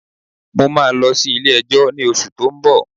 Mo máa lọ sí ilé ẹjọ́ ní oṣù tó ń bọ̀.